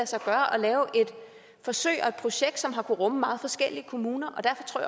sig gøre at lave et forsøg og et projekt som har kunnet rumme meget forskellige kommuner